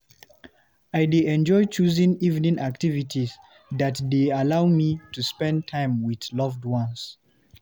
I dey enjoy choosing evening activity that dey allow me to spend time with loved ones.